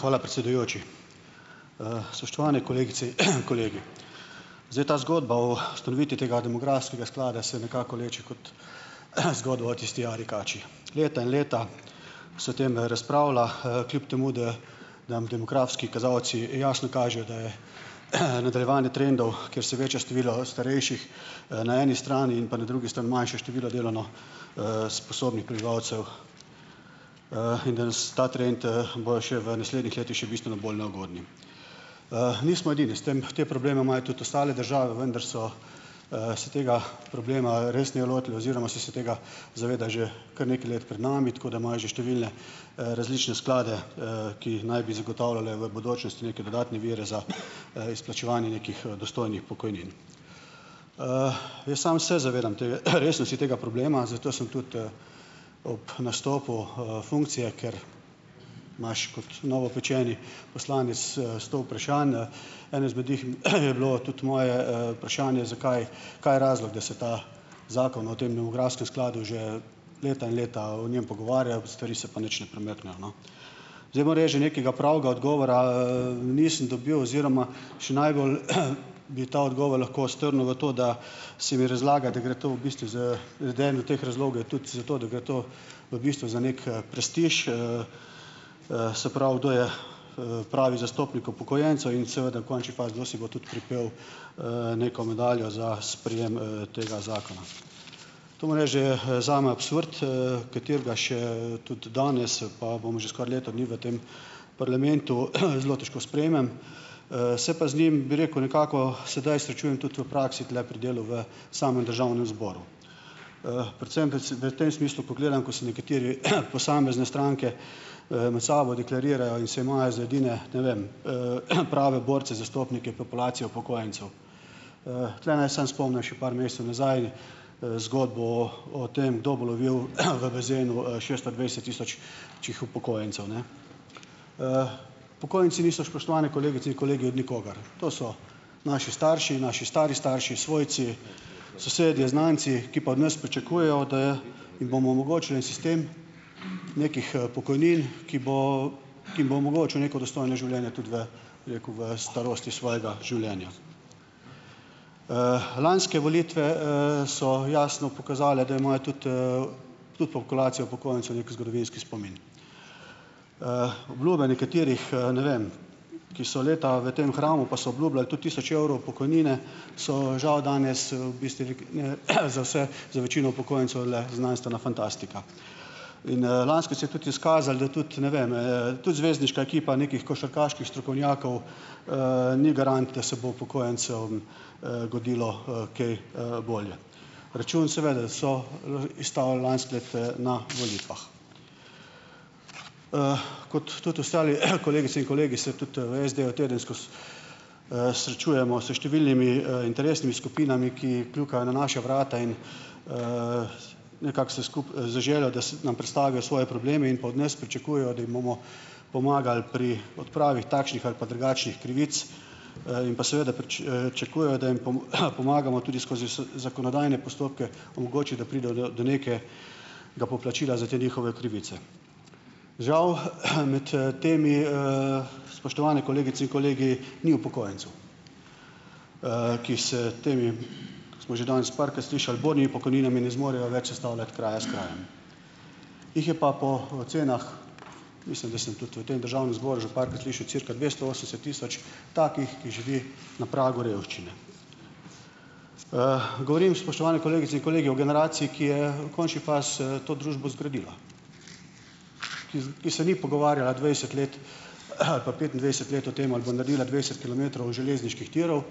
hvala predsedujoči. spoštovane kolegice in kolegi. Zdaj ta zgodba o ustanovitvi tega demografskega sklada se nekako vleče kot zgodba o tisti jari kači. Leta in leta se tem razpravlja, kljub temu da dam demografski kazalci jasno kažejo, da je nadaljevanje trendov, kjer se veča število starejših na eni strani, in pa na drugi sta manjše število delovno sposobnih prebivalcev in da se ta trend bojo še v naslednjih letih še bistveno bolj neugodni. nismo edini. S tem, te probleme imajo tudi ostale države, vendar so se tega problema resneje lotili oziroma so se tega zaveda že kar nekaj let pred nami, tako da imajo že številne različne sklade ki naj bi zagotavljali v bodočnosti neke dodatne vire za izplačevanje nekih dostojnih pokojnin. jaz sem se zavedam jaz sem si tega problema, zato sem tudi ob nastopu funkcije, ker imaš kot novopečeni poslanec sto vprašanj Eno izmed njih je bilo tudi moje vprašanje, zakaj, kaj je razlog, da se ta Zakon o tem demografskem skladu že leta in leta o njem pogovarja, stvari se pa nič ne premaknejo, no. Zdaj moreč, da nekega pravega odgovora nisem dobil oziroma še najbolj bi ta odgovor lahko strnil v to, da se mi razlaga, da gre to v bistvu z do teh razlogov tudi zato, da gre to v bistvu za neki prestiž, se prav, kdo je pravi zastopnik upokojencev in seveda v končni fazi, kdo si bo tudi pripel neko medaljo za sprejem tega zakona . To moram reči, da je zame absurd, katerega še tudi danes, pa bomo že skoraj leto dni v tem parlamentu, zelo težko sprejmem. se pa z njim, bi rekel, nekako sedaj srečujem tudi v praksi, tule pri delu v samem Državnem zboru. predvsem, da se, da tem smislu pogledam, ko se nekateri, posamezne stranke med sabo deklarirajo in se imajo za edine, ne vem, prave borce, zastopnike populacije upokojencev. tule naj samo še par mesecev nazaj zgodbo o tem, kdo bo lovil v bazenu šeststo dvajset tisočih upokojencev, ne. upokojenci niso, spoštovane kolegice in kolegi, od nikogar. To so naši starši, naši stari starši, svojci, sosedje, znanci, ki pa od nas pričakujejo, da jim bomo omogočili en sistem nekih pokojnin , ki bo, ki bo omogočil neko dostojno življenje tudi v, bi rekel, v starosti svojega življenja . lanske volitve, so jasno pokazale, da imajo tudi, tudi populacijo upokojencev neki zgodovinski spomin. obljube nekaterih ne vem, ki so leta v tem hramu, pa so obljubljali tudi tisoč evrov pokojnine, so žal danes za vse, za večino upokojencev le znanstvena fantastika. In lansko leto se je tudi izkazalo, da tudi, ne vem, tudi zvezdniška ekipa nekih košarkaških strokovnjakov ni garant, da se bo upokojencem godilo kaj bolje. Račun seveda da so izstavili lansko leto na volitvah . kot tudi ostali kolegice in kolegi se tudi v SD-ju tedensko srečujemo s številnimi interesnimi skupinami, ki kljukajo na naša vrata in nekako se vse skupaj zaželijo, da se nam predstavijo svoje probleme in pa od nas pričakujejo, da jih bomo pomagali pri odpravi takšnih ali pa drugačnih krivic, in pa seveda čakujejo, da jim pomagamo tudi skozi zakonodajne postopke omogoči, da pridejo do, do neke ga poplačila za te njihove krivice. Žal med temi spoštovane kolegice in kolegi, ni upokojencev. ki se temi, ko smo že danes parkrat slišali, bornimi pokojninami ne zmorejo več sestavljati kraja s krajem . Jih je pa po ocenah, mislim, da sem tudi v tem Državnem zboru že parkrat slišal, cirka dvesto osemdeset tisoč takih, ki živi na pragu revščine. govorim, spoštovane kolegice in kolegi, o generaciji, ki je v končni fazi to družbo zgradila, ki, ki se ni pogovarjala dvajset let ali pa petindvajset let o tem ali pa naredila dvajset kilometrov železniških tirov,